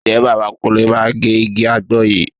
Ǹjẹ́ bàbá Kúnlé máa gé igi àgbọn yìí?